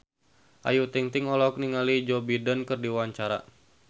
Ayu Ting-ting olohok ningali Joe Biden keur diwawancara